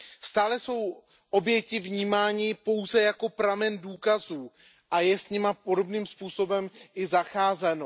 Stále jsou oběti vnímány pouze jako pramen důkazů a je s nimi podobným způsobem i zacházeno.